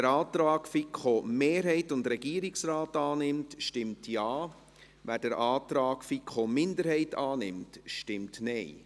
Wer den Antrag der FiKo-Mehrheit und des Regierungsrates annimmt, stimmt Ja, wer den Antrag der FiKo-Minderheit annimmt, stimmt Nein.